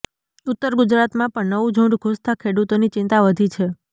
ઉત્તર ગુજરાતમાં પણ નવું ઝૂંડ ઘૂસતાં ખેડૂતોની ચિંતા વધી છે